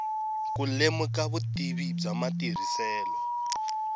ku lemuka vutivi bya matirhiselo